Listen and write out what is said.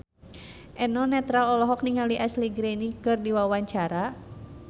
Eno Netral olohok ningali Ashley Greene keur diwawancara